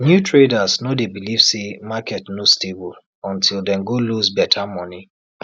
new traders no dey believe say market no stable untill dem go lose better money